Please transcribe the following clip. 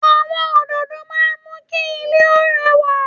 Àwọn òdòdó máa ń mú kí ilé ó rẹwà